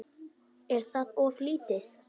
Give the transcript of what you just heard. Er það of lítið?